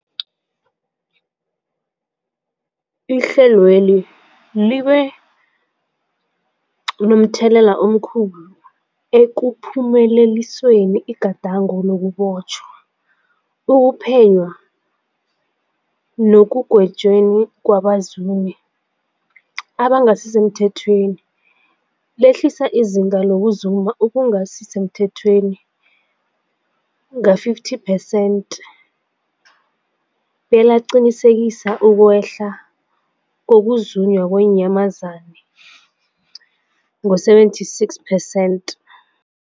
Ihlelweli libe momthelela omkhulu ekuphumeleliseni igadango lokubotjhwa, ukuphenywa nekugwetjweni kwabazumi abangasisemthethweni, lehlisa izinga lokuzuma okungasi semthethweni ngama-50 percent belaqinisekisa ukwehla kokuzunywa kweenyamazana ngama-76 percent.